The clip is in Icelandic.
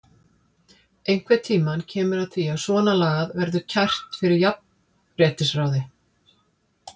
Einhvern tímann kemur að því að svona lagað verður kært fyrir jafnréttisráði.